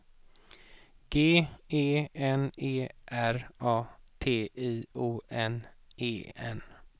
G E N E R A T I O N E N